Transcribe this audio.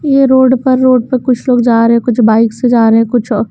ये रोड पर रोड पर कुछ लोग जा रहे हैं कुछ बाइक से जा रहे हैं कुछ और --